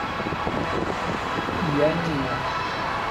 я не я